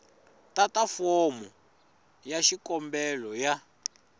tata fomo ya xikombelo ya